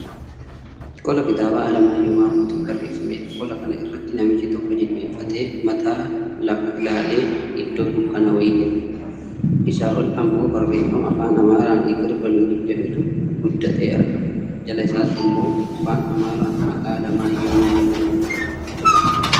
Qola kitaaba Alamaayyoo Maammootiin barreefamedha. Qola kana irra namichi tokko jilbeenfatee, mataan lafa ilaale iddoo dukkanaa wayii jira. Isaa ol ammoo barreefama Afaan Amaaraan "Hiqir baluunyi" jedhutu guddatee argama. Jala isaattimmoo Afaan Amaaraan maqaa "Alamaayyoo Maammoo" jedhutu argama.